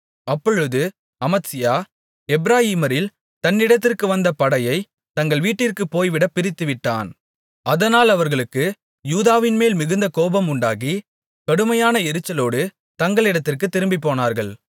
அப்பொழுது அமத்சியா எப்பிராயீமரில் தன்னிடத்திற்கு வந்த படையைத் தங்கள் வீட்டிற்குப் போய்விடப் பிரித்துவிட்டான் அதனால் அவர்களுக்கு யூதாவின்மேல் மிகுந்த கோபம் உண்டாகி கடுமையான எரிச்சலோடு தங்களிடத்திற்குத் திரும்பிப்போனார்கள்